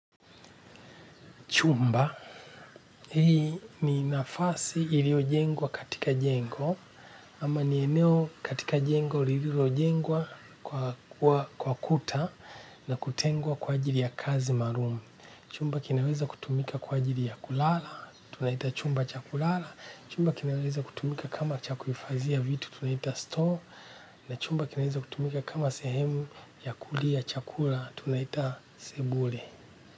Chumba, hii ni nafasi iliojengwa katika jengo, ama ni eneo katika jengo lililoengwa kwa kuta na kutengwa kwa ajiri ya kazi maalum. Chumba kinaweza kutumika kwa ajiri ya kulala, tunaita chumba cha kulala, chumba kinaweza kutumika kama cha kuhifadhia vitu tunaita store, na chumba kinaweza kutumika kama sehemu ya kulia chakula, tunaita sebule.